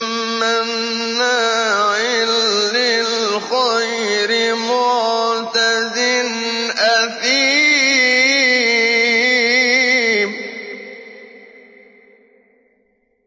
مَّنَّاعٍ لِّلْخَيْرِ مُعْتَدٍ أَثِيمٍ